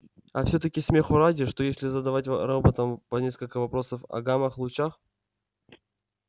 а всё таки смеху ради что если задавать роботам по нескольку вопросов о гамма-лучах